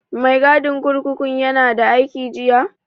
Mai gadin kurkukun ya na da aiki jiya?